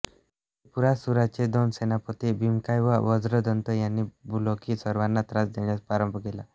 त्रिपुरासुराचे दोन सेनापती भीमकाय व वज्रदंत यांनी भूलोकी सर्वांना त्रास देण्यास प्रारंभ केला